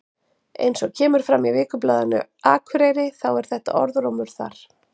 Eins og kemur fram í Vikublaðinu Akureyri þá er þetta orðrómur þar.